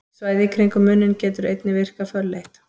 Svæðið í kringum munninn getur einnig virkað fölleitt.